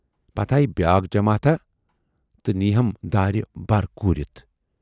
پَتہٕ آیہِ بیاکھ جماتھاہ تہٕ نیٖی ہَم دارِ بَر کوٗرِتھ۔